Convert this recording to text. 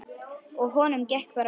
Og honum gekk bara vel.